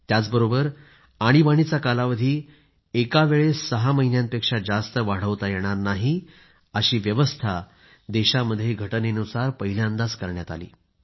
त्याचबरोबर आणीबाणीचा कालावधी एका वेळेस सहा महिन्यांपेक्षा जास्त वाढवता येणार नाही अशी व्यवस्था देशात घटनेनुसार पहिल्यांदा करण्यात आली